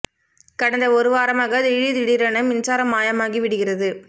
கடந்த ஒரு வாரமாக திடீர் திடீரென மின்சாரம் மாயமாகி விடுகிறது